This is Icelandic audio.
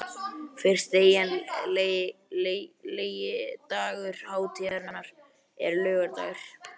Fyrsti eiginlegi dagur hátíðarinnar er laugardagur.